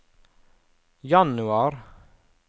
januar